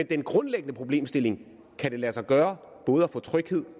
den grundlæggende problemstilling kan det lade sig gøre både at få tryghed